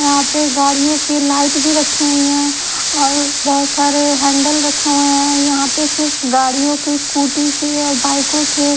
यहाँ पे गाड़ियों की लाईट भी रखी हुई हैं और बहुत सारे हैंडल रखे हुए हैं यहं पे सिर्फ गाड़ियों के स्कूटी के और बाइकों के--